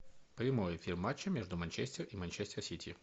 прямой эфир матча между манчестер и манчестер сити